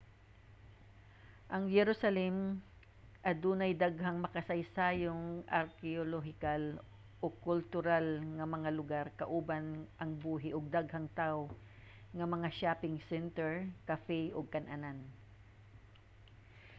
ang jerusalem adunay daghang makasaysayanon arkeolohikal ug kultural nga mga lugar kauban ang buhi ug daghang tawo nga mga shopping center cafe ug kan-anan